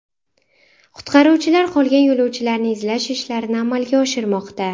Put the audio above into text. Qutqaruvchilar qolgan yo‘lovchilarni izlash ishlarini amalga oshirmoqda.